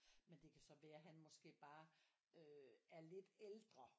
Men det kan så være at han måske bare er lidt ældre